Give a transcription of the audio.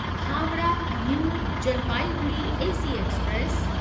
Howrah New Jalpaiguri AC express